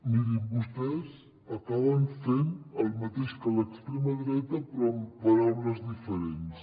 mirin vostès acaben fent el mateix que l’extrema dreta però amb paraules diferents